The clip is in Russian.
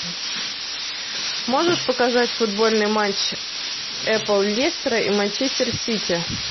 можешь показать футбольный матч апл лестера и манчестер сити